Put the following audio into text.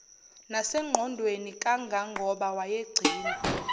nasengqondweni kangangoba wayegcina